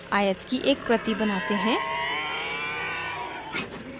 आयत की एक प्रति बनाते हैं